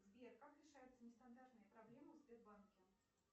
сбер как решаются нестандартные проблемы в сбербанке